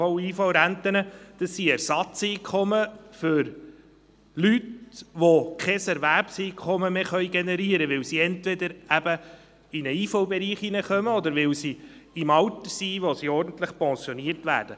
AHV- und IV-Renten sind Ersatzeinkommen für Menschen, die kein Erwerbseinkommen mehr generieren können, weil sie entweder eben in den IV-Bereich kommen oder weil sie das Alter erreichen, in dem sie ordentlich pensioniert werden.